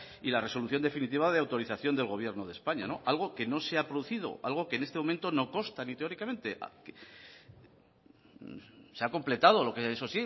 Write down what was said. y la resolución definitiva de autorización del gobierno de españa algo que no se ha producido algo que en este momento no consta ni teóricamente se ha completado lo que eso